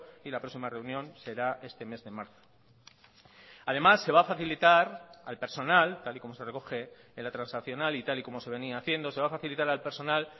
y la próxima reunión será este mes de marzo además se va a facilitar al personal tal y como se recoge en la transaccional y tal y como se venía haciendo se va a facilitar al personal